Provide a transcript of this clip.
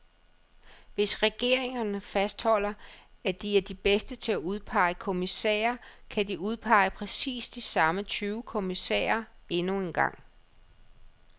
Hvis regeringerne fastholder, at de er de bedste til at udpege kommissærer, kan de udpege præcis de samme tyve kommissærer endnu en gang.